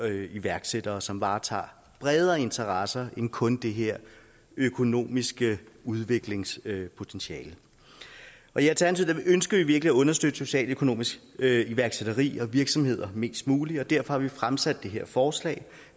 iværksættere som varetager bredere interesser end kun det her økonomiske udviklingspotentiale i alternativet ønsker vi virkelig at understøtte socialøkonomisk iværksætteri og virksomhed mest muligt og derfor har vi fremsat det her forslag